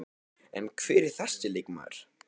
En hver er þessi leikmaður?